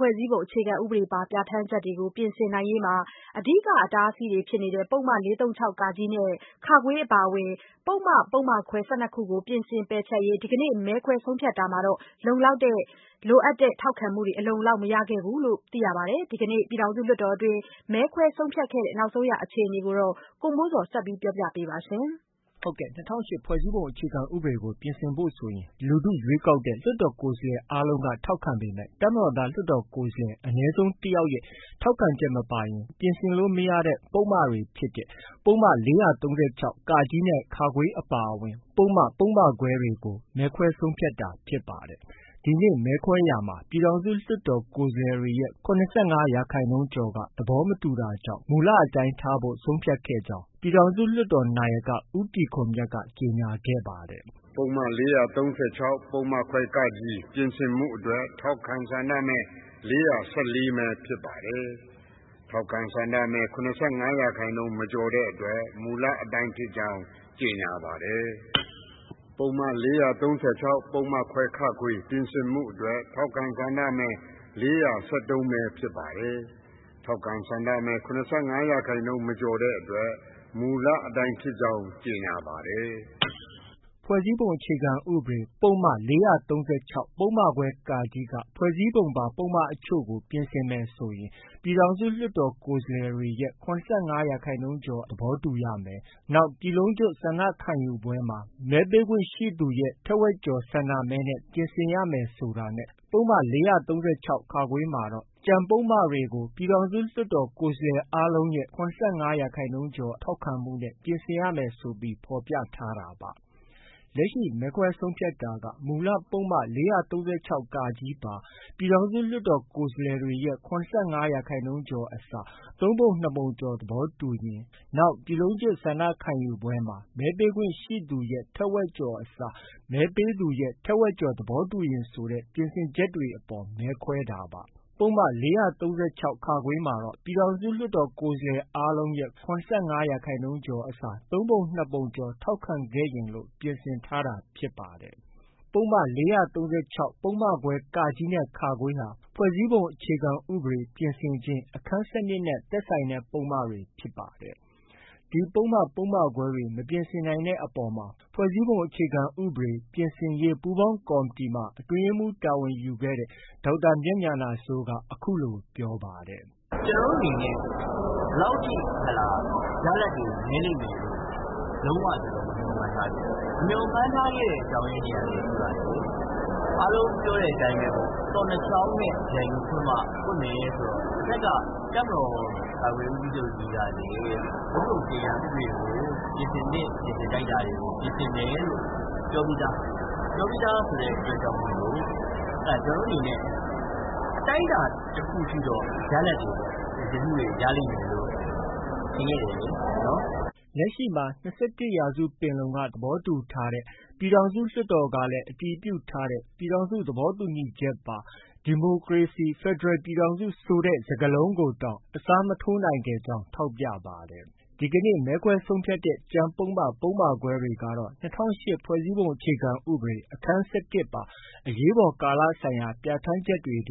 ဖွဲ့စည်းပုံအခြေခံဥပဒေပါ ပြဌာန်းချက်တွေကို ပြင်ဆင်နိုင်ရေးမှာ အဓိက အတားအဆီးဖြစ်တဲ့ ပုဒ်မ ၄၃၆ (က) နဲ့ (ခ) အပါအဝင် ပုဒ်မ ပုဒ်မခွဲ ၁၂ ခုကို ပြင်ဆင် ပယ်ဖျက်ရေး ဒီကနေ့ မဲခွဲဆုံးဖြတ်တာမှာလည်း လိုအပ်တဲ့ထောက်ခံမှု အလုံအလောက် မရခဲ့ပါဘူး။ ဒီကနေ့ ပြည်ထောင်စုလွှတ်တော်တွင်း မဲခွဲဆုံးဖြတ်ခဲ့တဲ့ အခြေအနေကို ဗွီအိုအေသတင်းထောက် ကိုမိုးဇော်က ဆက်ပြောပြပါမယ်။ ၂၀၀၈ ဖွဲ့စည်းပုံအခြေခံဥပဒေကို ပြင်ဆင်ဖို့ဆိုရင် လူထု ရွေးကောက်တဲ့ လွှတ်တော်ကိုယ်စားလှယ် အားလုံးက ထောက်ခံပေမဲ့ တပ်မတော်သား လွှတ်တော်ကိုယ်စားလှယ် အနည်းဆုံးတစ်ယောက်ရဲ့ ထောက်ခံချက်မပါရင် ပြင်ဆင်လို့ မရတဲ့ ပုဒ်မတွေဖြစ်တဲ့ ပုဒ်မ ၄၃၆(က)နဲ့ (ခ)အပါအဝင် ပုဒ်မ၊ ပုဒ်မခွဲတွေ ကို မဲခွဲဆုံးဖြတ်တာဖြစ်ပါတယ်။ ဒီနေ့ မဲခွဲရာမှာလည်း ပြည်ထောင်စုလွှတ်တော် ကိုယ်စားလှယ်တွေရဲ့ ၇၅ရာခိုင်နှုန်းကျော်က သဘောမတူတာကြောင့် မူလအတိုင်းထားရှိဖို့ ဆုံးဖြတ်ခဲ့ကြောင်း လွှတ်တော်နာယက ဦးတီခွန်မြတ်က ကြေညာခဲ့ပါတယ်။ "ပုဒ်မ ၄၃၆ ပုဒ်မခွဲ (က) ပြင်ဆင်မှုအတွက် ထောက်ခံ ဆန္ဒမဲ ၄၁၄မဲ ဖြစ်ပါတယ်။ ထောက်ခံ ဆန္ဒမဲ ၇၅ရာခိုင်နှုန်း မကျော်တဲ့အတွက် မူလအတိုင်းဖြစ်ကြောင်း ကြေညာပါတယ်။ ပုဒ်မ ၄၃၆ ပုဒ်မခွဲ (ခ)ပြင်ဆင်မှုအတွက် ထောက်ခံ ဆန္ဒမဲ ၄၁၃မဲ ဖြစ်ပါတယ်။ ထောက်ခံ ဆန္ဒမဲ ၇၅ ရာခိုင်နှုန်း မကျော်တဲ့အတွက် မူလအတိုင်းဖြစ်ကြောင်း ကြေညာပါတယ်။” ၂၀၀၈ ဖွဲ့စည်းပုံအခြေခံဥပဒေ ပုဒ်မ ၄၃၆ ပုဒ်မခွဲ (က)က ဖွဲ့စည်းပုံပါ ပုဒ်မအချို့ကို ပြင်ဆင်မယ်ဆိုရင် ပြည်ထောင်စု လွှတ်တော်ကိုယ်စားလှယ်တွေရဲ့ ၇၅ရာခိုင်နှုန်းကျော် သဘောတူရမယ်။ နောက် ပြည်လုံးကျွတ်ဆန္ဒခံယူပွဲမှာ မဲပေးခွင့်ရှိသူရဲ့ ထက်ဝက်ကျော် ဆန္ဒမဲနဲ့ ပြင်ဆင်ရမယ်ဆိုတာနဲ့ ပုဒ်မ ၄၃၆ (ခ)မှာ တော့ ကျန်ပုဒ်မတွေကို ပြည်ထောင်စုလွှတ်တော် ကိုယ်စားလှယ်အားလုံးရဲ့ ၇၅ရာခိုင်နှုန်း ထောက်ခံမှုနဲ့ ပြင်ဆင်ရမယ် ဆိုပြီး ဖော်ပြထားတာပါ။ လက်ရှိ မဲခွဲဆုံးဖြတ်တာက မူလ ပုဒ်မ ၄၃၆(က) ပါ ပြည်ထောင်စု လွှတ်တော်ကိုယ်စားလှယ်တွေရဲ့ ၇၅ရာခိုင်နှုန်းကျော်အစား သုံးပုံ နှစ်ပုံကျော်သဘောတူရင်၊ နောက် ပြည်လုံးကျွတ်ဆန္ဒခံယူပွဲမှာ မဲပေးခွင့်ရှိသူရဲ့ ထက်ဝက်ကျော်အစား မဲပေးသူရဲ့ ထက်ဝက်ကျော် သဘောတူရင်ဆိုတဲ့ ပြင်ဆင်ချက်တွေအပေါ် မဲခွဲတာပါ။ ပုဒ်မ ၄၃၆ (ခ)မှာတော့ ပြည်ထောင်စုလွှတ်တော် ကိုယ်စားလှယ်အားလုံးရဲ့ ၇၅ရာခိုင်နှုန်း အစား သုံးပုံ နှစ်ပုံကျော် ထောက်ခံရင်လို့ ပြင်ဆင်ထားတာဖြစ်ပါတယ်။ ဒီပုဒ်မ ၄၃၆ ပုဒ်မခွဲ (က)နဲ့ (ခ)ဟာ ဖွဲ့စည်းပုံအခြေခံဥပဒေပြင်ဆင်ခြင်း၊ အခန်း ၁၂ နဲ့ သက်ဆိုင်တဲ့ပုဒ်မတွေဖြစ်ပါတယ်။ ဒီပုဒ်မ၊ ပုဒ်မခွဲတွေ မပြင်ဆင်နိုင်တဲ့အပေါ်မှာ ဖွဲ့စည်းပုံအခြေခံဥပဒေ ပြင်ဆင်ရေး ပူုးပေါင်းကော်မတီမှာ အတွင်းရေးမှုးတာဝန်ယူခဲ့တဲ့ ဒေါက်တာ မြတ်ဉာဏစိုးက အခုလို ပြောပါတယ်။ “ကျနော်တို့ အနေနဲ့ ရလဒ်တွေ ဒီလောက်ထိ နည်းလိမ့်မယ်လို့ လုံး၀ မမျှော်မှန်းထားခဲ့ဘူး။ မမျှော်မှန်းထားတဲ့အကြောင်းရင်းများလည်း ရှိပါတယ်။ အားလုံးပြောတဲ့အတိုင်းပေါ့၊ သော့နှစ်ချောင်းနဲ့ ပြိုင်တူဖွင့်မှ ပွင့်မယ်ဆိုတော့ တစ်ဘက်က တပ်မတော်ကာကွယ်ရေးဦးစီးချုပ်ကြီးကလည်း ဖွဲ့စည်းပုံအခြေခံဥပဒေကို ပြင်ဆင်သင့် ပြင်ဆင်ထိုက်တာတွေကို ပြင်ဆင်မယ်လို့ ပြောပြီးသား။ ပြောပြီးသားဆိုတဲ့အတွက်ကြောင့်မို့ ကျနော်တို့အနေနဲ့ အတိုင်းအတာတစ်ခုထိတော့ ရလဒ်တွေ ပြင်ဆင်မှုတွေ ရလိမ့်မယ်လို့ ထင်ခဲ့တယ်။ ” လက်ရှိမှာ ၂၁ ရာစုပင်လုံက သဘောတူထားပြီး ပြည်ထောင်စုလွှတ်တော်က အတည်ပြုထားတဲ့ ပြည်ထောင်စု သဘောတူညီချက်ပါ ဒီမိုကရေစီ၊ဖက်ဒရယ်ပြည်ထောင်စု ဆိုတဲ့ စကားလုံးကိုတောင် အစားထိုးမရနိုင်ခဲ့ ကြောင်း ထောက်ပြပါတယ်။ ဒီကနေ့ မဲခွဲဆုံးဖြတ်တဲ့ ကျန်ပုဒ်မ၊ ပုဒ်မခွဲတွေကတော့ ၂၀၀၈ခုနှစ် ဖွဲ့စည်းပုံအခြေခံဥပဒေ အခန်း (၁၁) ပါ အရေးပေါ်ကာလဆိုင်ရာ ပြဌာန်းချက်များထဲက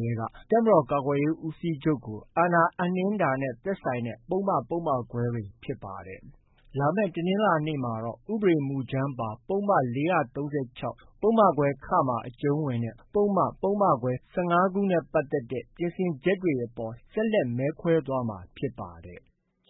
တပ်မတော်ကာကွယ်ရေးဦးစီးချုပ်ကို အာဏာအပ်နှင်းခြင်းတဲ့ သက်ဆိုင်တဲ့ ပုဒ်မ၊ ပုဒ်မခွဲတွေ ဖြစ်ပါတယ်။ လာမယ့် တနင်္လာနေ့မှာတော့ ဥပဒေမူကြမ်းပါ ပုဒ်မ ၄၃၆၊ ပုဒ်မခွဲ(ခ)မှာ အကျုံးဝင်တဲ့ ပုဒ်မ၊ ပုဒ်မခွဲ ၁၅ခုကို ပြင်ဆင်ချက်တွေအပေါ် ဆက်လက် မဲခွဲသွားမှာဖြစ်ပါတယ်။